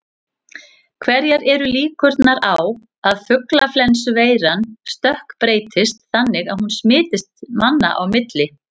Hverjar eru líkurnar á að fuglaflensuveiran stökkbreytist þannig að hún smitist manna á milli?